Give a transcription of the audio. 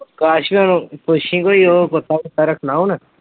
ਅਕਾਸ਼ ਭਈਆ ਨੂੰ ਪੁੱਛੀ ਕੋਈ ਉਹ ਕੁੱਤਾ ਕੁੱਤਾ ਰੱਖਣਾ ਹੁਣ।